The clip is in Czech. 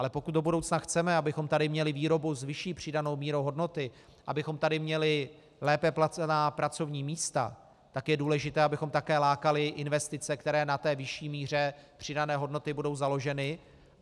Ale pokud do budoucna chceme, abychom tady měli výrobu s vyšší přidanou mírou hodnoty, abychom tady měli lépe placená pracovní místa, tak je důležité, abychom také lákali investice, které na té vyšší míře přidané hodnoty budou založeny.